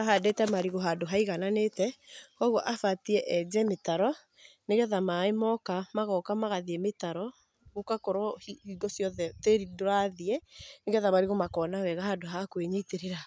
Ahandĩte marigũ handũ haigananĩte, kũgũo abatiĩ enje mĩtaro nĩgetha maĩ moka, magoka magathiĩ mĩtaro gũgakorwo hingo ciothe tĩri ndũrathiĩ nĩgetha marigũ makona wega handũ ha kwĩnyitĩrĩra.